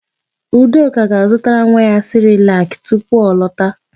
Udoka ga-azụtara nwa ya sịrịlakị tupu ọ lọta.